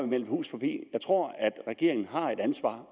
melde hus forbi jeg tror regeringen har et ansvar